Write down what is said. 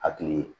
Hakili